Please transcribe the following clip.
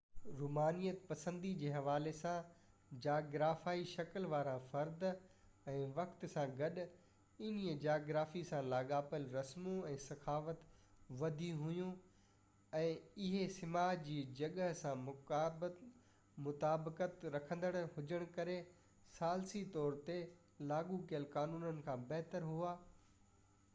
رومانيت پسندي جي حوالي سان جاگرافيائي شڪل وارا فرد ۽ وقت سان گڏ انهي جغرافي سان لاڳاپيل رسمون ۽ ثقافت وڌي ويون ۽ اهي سماج جي جڳهه سان مطابقت رکندڙ هجن ڪري ثالثي طور تي لاڳو ڪيل قانونن کان بهتر هئا